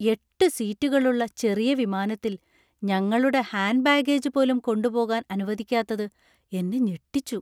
എട്ട് സീറ്റുകളുള്ള ചെറിയ വിമാനത്തിൽ ഞങ്ങളുടെ ഹാൻഡ് ബാഗേജ് പോലും കൊണ്ടുപോകാൻ അനുവദിക്കാത്തത് എന്നെ ഞെട്ടിച്ചു .